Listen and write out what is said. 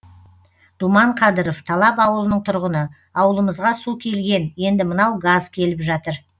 думан қадыров талап ауылының тұрғыны ауылымызға су келген енді мынау газ келіп жатыр